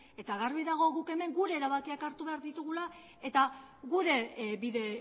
eta garbi dago guk hemen gure erabakiak hartu behar ditugula eta gure bide